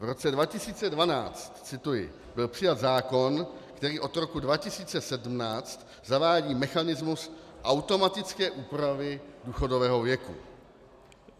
V roce 2012 - cituji - byl přijat zákon, který od roku 2017 zavádí mechanismus automatické úpravy důchodového věku.